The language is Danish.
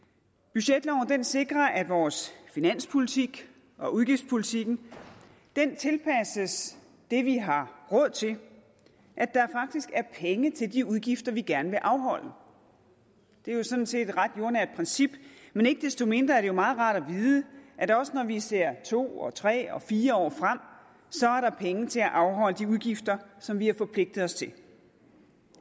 budgetloven sikrer at vores finanspolitik og udgiftspolitikken tilpasses det vi har råd til at der faktisk er penge til de udgifter vi gerne vil afholde det er jo sådan set et ret jordnært princip men ikke desto mindre er det jo meget rart at vide at der også når vi ser to og tre og fire år frem er penge til at afholde de udgifter som vi har forpligtet os til